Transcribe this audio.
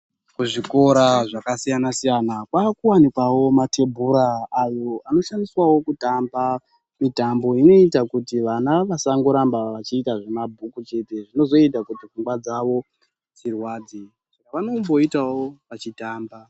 Ku zvikora zvaka siyana siyana kwaku wanikwawo mate bhura ayo ano shandiswawo kutamba mitambo inoita kuti vana vasango ramba vachi ita zvema bhuku chete zvinozoita kuti pfungwa dzavo dzirwadze vanombo itawo vachi tamba.